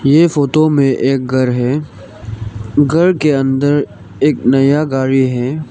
ये फोटो में एक घर है घर के अंदर एक नया गाड़ी है।